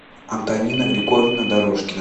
антонина григорьевна дорожкина